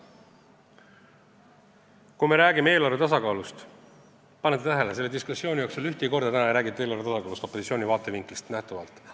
Kui me räägime eelarve tasakaalust, siis kas panite tähele, et tänase diskussiooni jooksul ei räägitud kordagi eelarve tasakaalust opositsiooni vaatevinklist lähtudes?